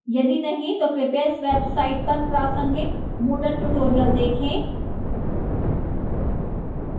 यदि नहीं तो कृपया इस website पर प्रासंगिक moodle tutorials देखें